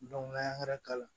n'a ye k'a la